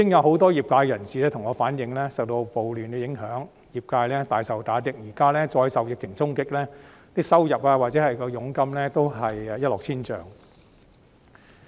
很多業界人士向我反映，受到暴亂的影響，業界大受打擊，現在再受疫情衝擊，不論收入或佣金也一落千丈。